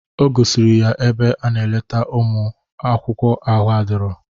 O gosikwara ya ebe a na-eleta ụmụ akwụkwọ ahụ adirọ.